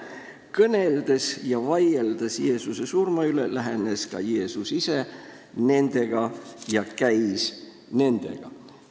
"Ja nende kõneldes ja vaieldes lähenes ka Jeesus ise neile ja käis nendega.